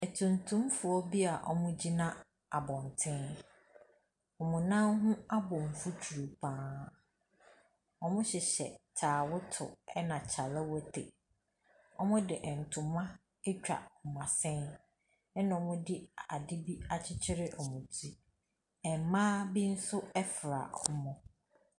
Atuntumfoɔ bi a wɔgyina abɔntene. Wɔn nan ho abɔ mfuturo pa ara. Wɔhyehyɛ taawoto ɛna kyalewote. Wɔde ntoma atwa wɔn asene, ɛna wɔde adeɛ boi akyekyere wɔn ti. Mmaa bi nso fra wɔn.